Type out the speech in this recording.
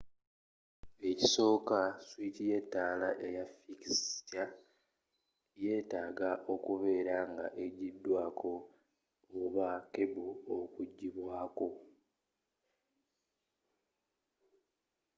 ekisooka swiki y'ettaala eya fikisikya yetaaga okubeera nga ejjidwako oba kebo okujjibwako